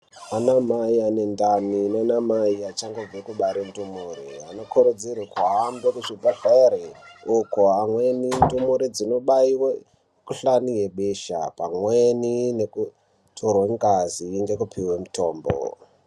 Vana mai vane ndani nana mai vachangobva kubara nendumure vanofungidzirwa kugare muzvibhedhlera uku vamweni ndumure dzinobarwa mikuhlani yebesha pamweni kutorwa nengazi ngekupuwa mutombo.